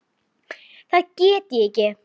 Það get ég ekki.